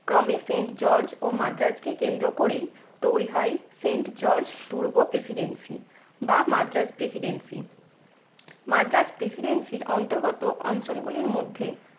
ক্রমে saint george ও মাদ্রাজকে কেন্দ্র করেই তৈরি হয় saint george দুর্গ presidency বা মাদ্রাজ presidency মাদ্রাজ presidency র অন্তর্গত অঞ্চলগুলির মধ্যে